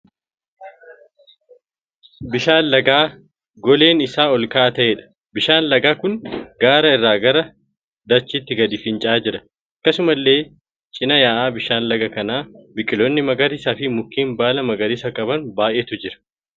Bishaan lagaa goleen isaa ol ka'aa ta'eedha. Bishaan lagaa kun gaara irraa gara dachaatti gadi finca'aa jira. Akkasumallee cina ya'aa bishaan lagaa kana biqiloonni magariisaa fi mukeen baala magariisa qaban baay'eetu jiru.